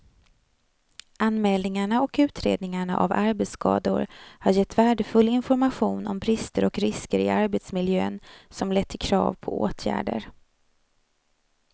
Anmälningarna och utredningarna av arbetsskador har gett värdefull information om brister och risker i arbetsmiljön som lett till krav på åtgärder.